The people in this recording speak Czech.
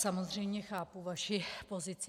Samozřejmě chápu vaši pozici.